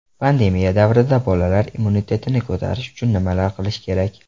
Pandemiya davrida bolalar immunitetini ko‘tarish uchun nimalar qilish kerak?.